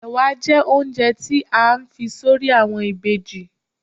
Ẹ̀wà jẹ́ oúnjẹ tí a fi s'orí àwọn ìbejì.